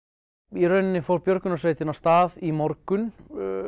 í rauninni fór björgunarsveitin af stað í morgun